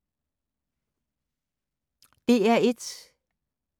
DR1